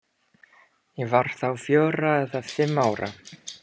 Ég var þá fjögurra eða fimm ára.